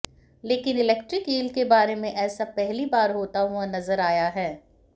लेकिन electric eel के बारे में ऐसा पहली बार होता हुआ नजर आया है